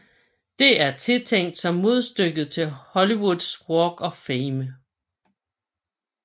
Det er tiltænkt som modstykket til Hollywoods Walk of Fame